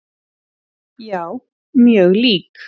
Já, mjög lík.